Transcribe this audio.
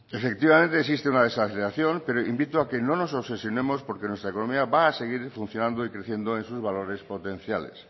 efectivamente existe una desaceleración pero invito a que no nos obsesionemos porque nuestra económica va a seguir funcionando y creciendo en sus valores potenciales